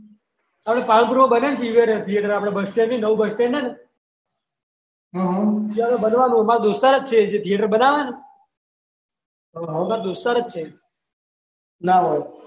આપણે પાલનપુર બનેને પીવીઆર આપણે બસ સ્ટેન્ડ છે ને નવું બસ સ્ટેન્ડ ઈ આગળ બનવાનું છે માર દોસ્તાર જ છે જે થીએટર બનાવેને દોસ્તાર જ છેના હોય